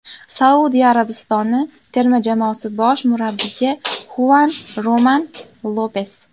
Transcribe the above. Saudiya Arabistoni terma jamoasi bosh murabbiyi Xuan Ramon Lopes.